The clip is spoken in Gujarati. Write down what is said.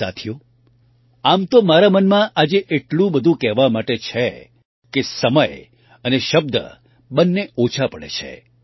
સાથીઓ આમ તો મારા મનમાં આજે એટલું બધું કહેવા માટે છે કે સમય અને શબ્દ બંને ઓછા પડે છે